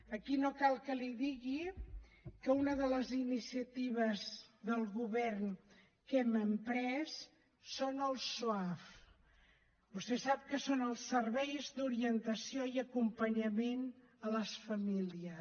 aquí no cal que li digui que una de les iniciatives del govern que hem emprès són els soaf vostè sap que són els serveis d’orientació i acompanyament a les famílies